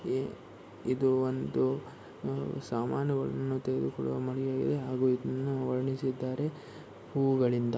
ಇದು ಒಂದು ಸಾಮಾನ ಗಳನ್ನು ತೆಗೆದುಕೊಳ್ಳುವ ಮನೆಯಾಗಿದ್ದು ಹಾಗೂ ಇದನ್ನು ವರ್ಣಿಸಿದ್ದಾರೆ ಹೂಗಳಿಂದ.